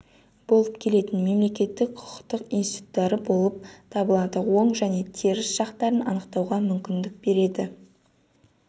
болып келетін мемлекеттік құқықтық институттары болып табылады оң және теріс жақтарын анықтауға мүмкіндік береді